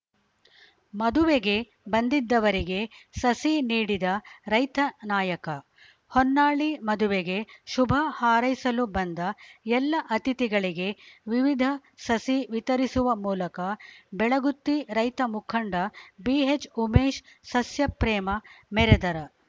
ಮದುವೆಗೆ ಬಂದಿದ್ದವರಿಗೆ ಸಸಿ ನೀಡಿದ ರೈತ ನಾಯಕ ಹೊನ್ನಾಳಿ ಮದುವೆಗೆ ಶುಭ ಹಾರೈಸಲು ಬಂದ ಎಲ್ಲ ಅತಿಥಿಗಳಿಗೆ ವಿವಿಧ ಸಸಿ ವಿತರಿಸುವ ಮೂಲಕ ಬೆಳಗುತ್ತಿ ರೈತ ಮುಖಂಡ ಬಿಎಚ್‌ ಉಮೇಶ್‌ ಸಸ್ಯ ಪ್ರೇಮ ಮೆರೆದರ